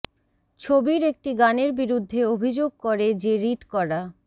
ছবির একটি গানের বিরুদ্ধে অভিযোগ করে যে রিট করা